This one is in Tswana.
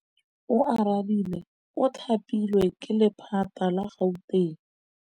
Oarabile o thapilwe ke lephata la Gauteng.